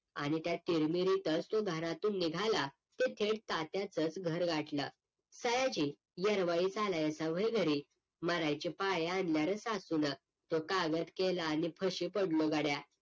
आणि त्या तिरमिरीतच घरातून निघाला ते थेट तात्याचंच घर गाठलं सयाजी येरवाळीच अलायसा वय घरी मरायचीपाळी आणली र सासूनं तो कागद केला आणि फशी पडलो गड्या